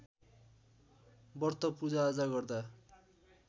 व्रत पूजाआजा गर्दा